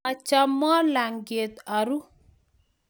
Machamwo lalng'iet aruu